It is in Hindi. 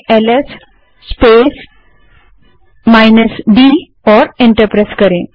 अब ls space minus D type करें और एंटर दबायें